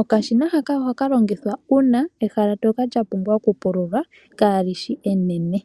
Okashina haka ohaka longithwa uuna ehala ndjoka lya pumbwa okupulwa kalishi enene.